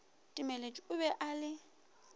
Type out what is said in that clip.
timeletše o be a le